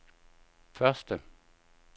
første